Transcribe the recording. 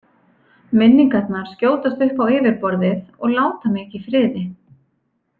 Minningarnar skjótast upp á yfirborðið og láta mig ekki í friði.